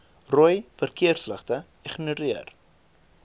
rooi verkeersligte ignoreer